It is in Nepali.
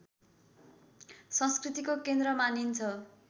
संस्कृतिको केन्द्र मानिन्छ